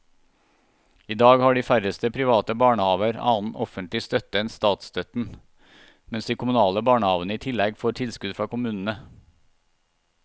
I dag har de færreste private barnehaver annen offentlig støtte enn statsstøtten, mens de kommunale barnehavene i tillegg får tilskudd fra kommunene.